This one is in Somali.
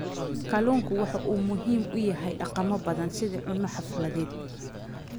Kalluunku waxa uu muhiim u yahay dhaqamo badan sida cunno xafladeed.